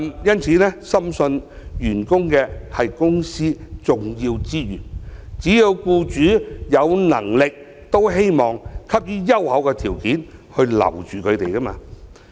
因此，我深信員工是公司重要資源，只要僱主有能力也希望給予優厚條件來留下員工。